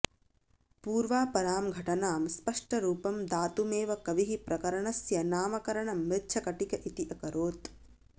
पूर्वापरां घटनां स्पष्टरूपं दातुमेव कविः प्रकरणस्य नामकरणं मृच्छकटिक इति अकरोत्